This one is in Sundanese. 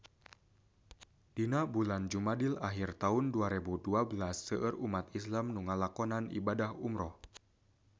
Dina bulan Jumadil ahir taun dua rebu dua belas seueur umat islam nu ngalakonan ibadah umrah